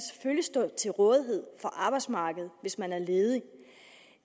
stå til rådighed for arbejdsmarkedet hvis man er ledig